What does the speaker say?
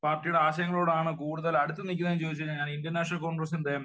പാർട്ടിയുടെ ആശയങ്ങളോടാണ് കൂടുതൽ അടുത്ത് നിക്കുന്നത് എന്ന് ചോദിച്ചു കഴിഞ്ഞാൽ ഞാൻ ഇന്ത്യൻ നാഷനൽ കോൺഗ്രസ്സിന്റെ